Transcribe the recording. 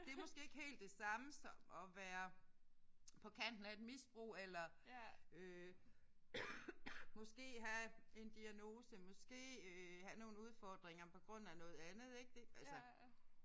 Det er måske ikke helt det samme som at være på kanten af et misbrug eller øh måske have en diagnose måske øh have nogle udfordringer på grund af noget andet ik det altså